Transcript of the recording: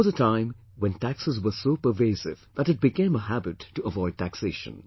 There was a time when taxes were so pervasive, that it became a habit to avoid taxation